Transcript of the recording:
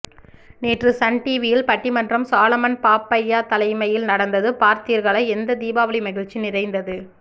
நேற்று சன் டிவியில் பட்டிமன்றம் சாலமன் பாப்பையாதலைமையில் நடந்தது பார்த்தீர்களா எந்த தீபாவளி மகிழ்ச்சி நிறைந்தது